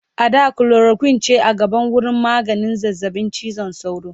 a da chloroquine ce a gaba wurin maganin zazzaɓin cizon sauro